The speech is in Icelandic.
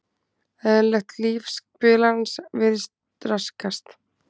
Eðlilegt líf spilarans virðist raskast.